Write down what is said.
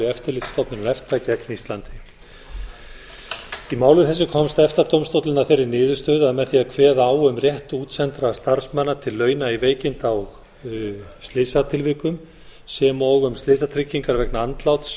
eftirlitsstofnunar efta gegn íslandi í máli þessu komst efta dómstóllinn að þeirri niðurstöðu að með því að kveða á um rétt útsendra starfsmanna til launa í veikinda og slysatilvikum sem og um slysatryggingar vegna andláts